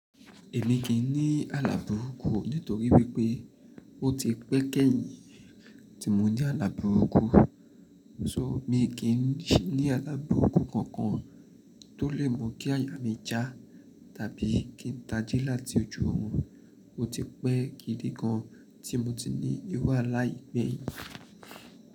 Èmi kì í ní àla buruku o nítorí wípé ó ti pẹ́ kẹ́yìn tí mo ní àla buruku. So mi kì í ní àlaburuku kankan tó lè mọ̀ kí àyà mi já tàbí kí n taji láti ojú òorun. Ó ti pẹ́ gidi gan tí mo ti ní ìru alá yí gbeyin.